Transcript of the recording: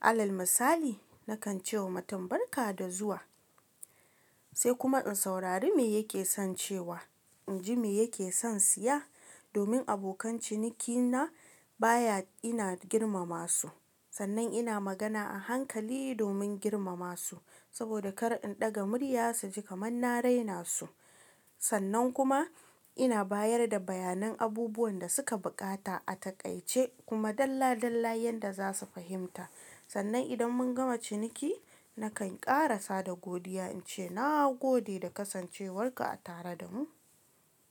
alal misali nakan ce wa mutum barka da zuwa, sai kuma in saurari me yake son cewa, in ji me yake son siya domin abokan cinikina baya ina girmama su. Sannan ina magana a hankali domin girmama su saboda kar in ɗaga murya su ji kamar na raina su. Sannan kuma ina bayar da bayanan abubuwan da suka buƙata a taƙaice kuma dalla dalla yanda za su fahimta. Sannan idan mun gama ciniki nakan ƙarasa da godiya, in ce na gode da kasancewarka a tare da mu.